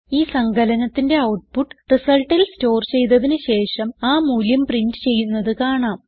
ഈ സങ്കലനത്തിന്റെ ഔട്ട്പുട്ട് resultൽ സ്റ്റോർ ചെയ്തതിന് ശേഷം ആ മൂല്യം പ്രിന്റ് ചെയ്യുന്നത് കാണാം